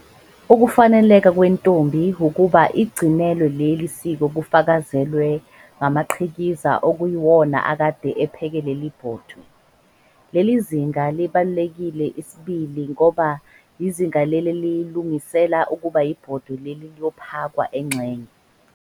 Ukufaneleka kwentombi ukuba igcinelwe leli siko kufakazelwa ngamaqhikiza okuyiwona akade epheke leli 'bhodwe'. Leli zinga libalulekile isibili ngoba yizinga leli elilungisela ukuba ibhodwe leli Iiyophakwa engxenye, umgcagco.